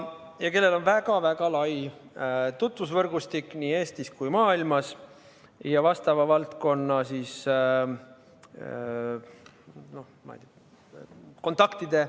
Tal on väga-väga lai tutvusvõrgustik nii Eestis kui mujal maailmas ja suur hulk vastava valdkonna kontakte.